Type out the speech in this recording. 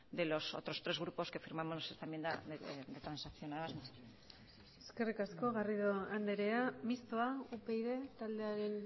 de los otros tres grupos que firmamos esta enmienda transaccionada muchas gracias eskerrik asko garrido andrea mistoa upyd taldearen